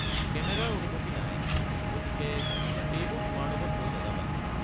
কেমেৰাৰ অনুমতি নাই, গতিকে সেইবোৰ তোমাৰ লগত লৈ নাযাবা।